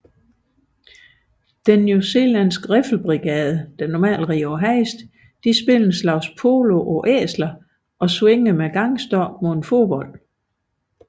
Den beredne newzealandske riffelbrigade spillede en slags polo på æsler og svingede med gangstokke mod en fodbold